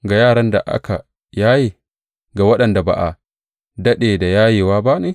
Ga yaran da aka yaye, ga waɗanda ba a daɗe da yayewa ba ne?